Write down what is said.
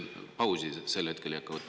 Pausi sel hetkel ei hakka võtma.